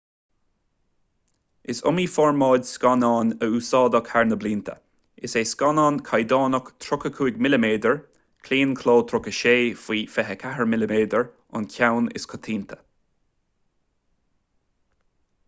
is iomaí formáid scannáin a úsáideadh thar na blianta. is é scannán caighdeánach 35 mm claonchló 36 faoi 24 mm an ceann is coitianta